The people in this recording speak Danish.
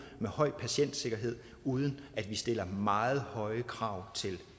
med høj patientsikkerhed uden at vi stiller meget høje krav til